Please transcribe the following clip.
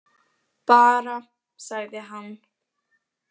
Bara, sagði hann.